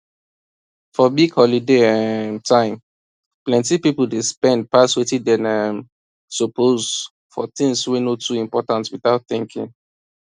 for big holiday um time plenty people dey spend pass wetin dem um suppose for things wey no too important without thinking